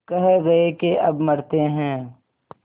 कह गये के अब मरते हैं